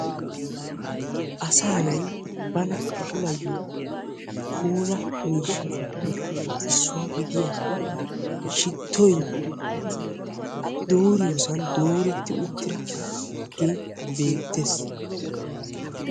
Asaa naa'ay bana puulayiyo puulaa miishshattupe issuwa gidiyaa shittoy dooriyosan dooretti uttidage beettees.